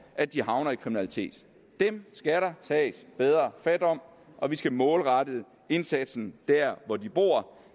at de havner i kriminalitet dem skal der tages bedre fat om og vi skal målrette indsatsen der hvor de bor